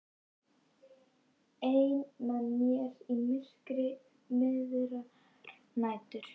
Ein með mér í myrkri miðrar nætur.